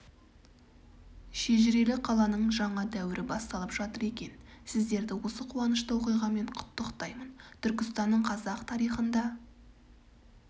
шежірелі қаланың жаңа дәуірі басталып жатыр екен сіздерді осы қуанышты оқиғамен құттықтаймын түркістанның қазақ тарихында